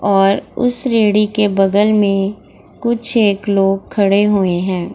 और उस रेढ़ी के बगल में कुछ एक लोग खड़े हुए हैं।